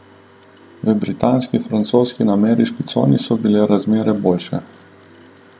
V britanski, francoski in ameriški coni so bile razmere boljše.